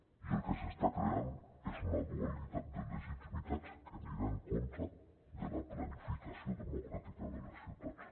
i el que s’està creant és una dualitat de legitimitats que anirà en contra de la planificació democràtica de les ciutats